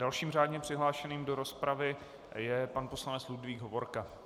Dalším řádně přihlášeným do rozpravy je pan poslanec Ludvík Hovorka.